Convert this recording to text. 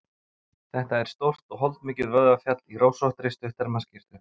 Þetta er stórt og holdmikið vöðvafjall í rósóttri, stutterma skyrtu.